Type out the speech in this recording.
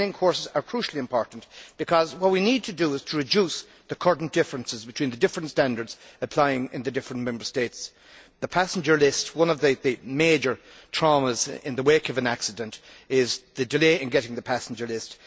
Training courses are crucially important, because what we need to do is to reduce the current differences between the different standards applicable in the different Member States. Concerning the passenger list, one of the major traumas in the wake of an accident is the delay in getting the passenger list.